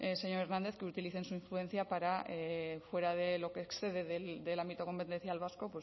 señor hernández que utilicen su influencia para fuera de lo que excede del ámbito competencial vasco